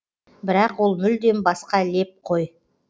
бірақ ол мүлдем басқа леп қой